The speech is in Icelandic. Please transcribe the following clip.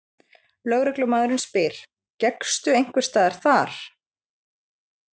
Lögreglumaðurinn spyr: Gekkstu einhversstaðar þar?